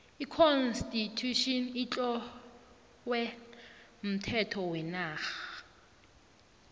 j constitution itlowe umthetho wenarha